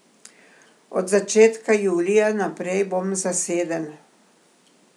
Od začetka julija naprej bom zaseden.